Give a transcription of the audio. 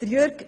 Jürg